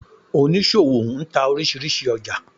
Onísọwo ń tá orísírísí ójà